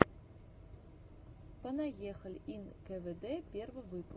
понаехали ин кэнэдэ первый выпуск